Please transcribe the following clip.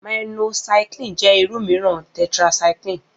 Minocycline jẹ́ irú mìíràn tetracycline